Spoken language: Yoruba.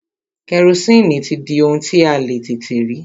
Kẹrosini ti di ohun tí a le tètè rí.